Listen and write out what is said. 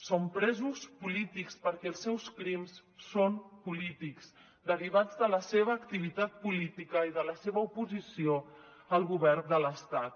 són presos polítics perquè els seus crims són polítics derivats de la seva activitat política i de la seva oposició al govern de l’estat